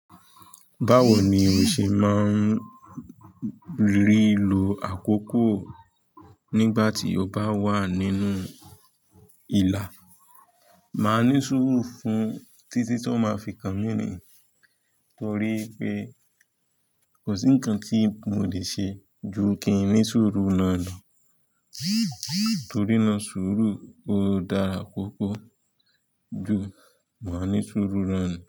Báwo ni ò ṣe máa ń rí lu àkókò nígbà tí o bá wà nínú ìlà? Màá ní sùúrù fún títí tó máa fi kàn mí nì torí pé kò sí ńǹkan tí mo lè ṣe ju kí n ní sùúrù náà lọ torí náà sùúrù ó dára púpọ̀ ju máa ní sùúrù náà ni.